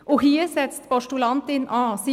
Hier setzt die Postulantin an.